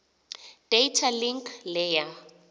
data link layer